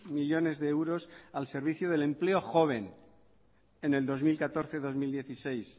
millónes de euros al servicio del empleo joven en el dos mil catorce dos mil dieciséis